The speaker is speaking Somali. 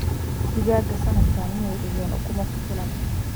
digaaggaaga sanadkan miyee dhigeen ukumo ku filan